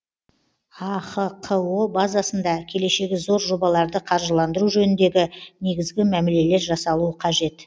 ахқо базасында келешегі зор жобаларды қаржыландыру жөніндегі негізгі мәмілелер жасалуы қажет